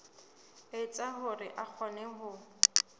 etsa hore a kgone ho